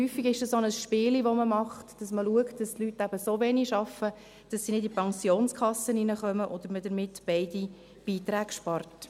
Häufig ist es auch ein kleines Spiel, das man macht: dass man schaut, dass die Leute eben so wenig arbeiten, dass sie nicht in die Pensionskasse hineinkommen und man so beide Beiträge spart.